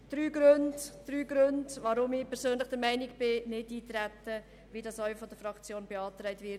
Hier drei Gründe, weshalb ich persönlich der Meinung bin, dass Nichteintreten richtig ist, so wie das auch von der Fraktion beantragt wird.